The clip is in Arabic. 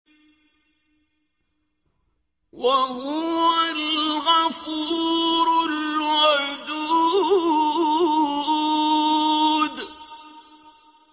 وَهُوَ الْغَفُورُ الْوَدُودُ